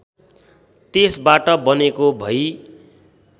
त्यसबाट बनेको भई